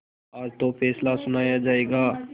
आज तो फैसला सुनाया जायगा